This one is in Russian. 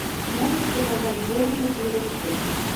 можешь показать борнмут ливерпуль